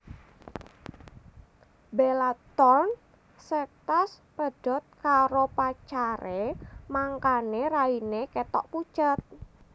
Bella Thorne sektas pedhot karo pacare mangkane raine ketok pucet